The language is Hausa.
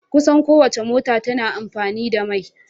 Kusan kowacce mota tana amfani da mai.